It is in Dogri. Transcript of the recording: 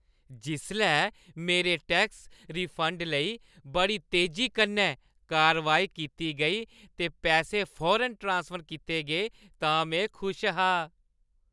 जिसलै मेरे टैक्स रिफंड लेई बड़ी तेजी कन्नै कारवाई कीती गेई ते पैसे फौरन ट्रांसफर कीते गे तां में खुश हा।